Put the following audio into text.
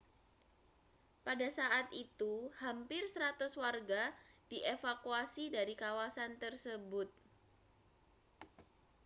pada saat itu hampir 100 warga dievakuasi dari kawasan tersebut